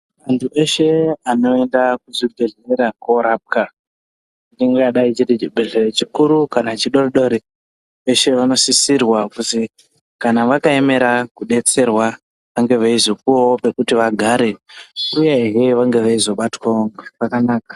Antu eshe anoenda kuzvibhedhlera koorapwa, ingadai chiri chibhedhleya chikuru kana chidodori, veshe vanosisirwa kuzi kana vakaemera kuzodetserwa, vange veizopuwawo pekuti vagare, uyehe vange veizobatwawo zvakanaka.